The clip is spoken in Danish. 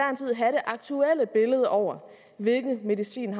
aktuelle billede over hvilken medicin